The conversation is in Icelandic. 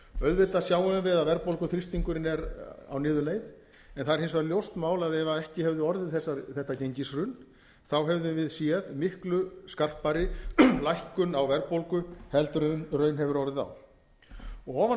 auðvitað sjáum við að verðbólguþrýstingurinn er á niðurleið en það er hins vegar ljóst mál að ef ekki hefði orðið þetta gengishrun hefðum við séð miklu skarpari lækkun á verðbólgu en raun hefur orðið á ofan á